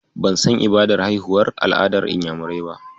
Ban san ibadar haihuwar al'adar Inyamurai ba.